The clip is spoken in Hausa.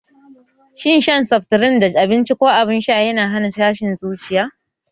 Shin shan seftrin tare da abinci ko abin sha yana hana mutum jin tashin zuciya?